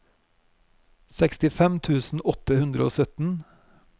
sekstifem tusen åtte hundre og sytten